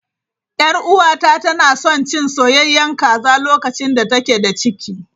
Yar uwata tana son cin soyayyen kaza lokacin da take da ciki.